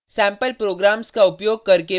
sample programs का उपयोग करके पर्ल में फंक्शन्स